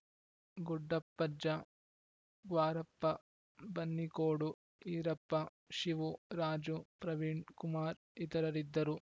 ಗುಡ್ಡಪ್ಪಜ್ಜ ಗ್ವಾರಪ್ಪ ಬನ್ನಿಕೋಡು ಈರಪ್ಪ ಶಿವು ರಾಜು ಪ್ರವೀಣ್‌ ಕುಮಾರ್‌ ಇತರರಿದ್ದರು